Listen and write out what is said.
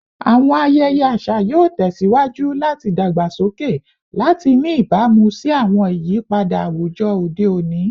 Awọn ayẹyẹ aṣa yoo tẹsiwaju lati dagbasoke lati ni ibamu si awọn iyipada awujọ ode oni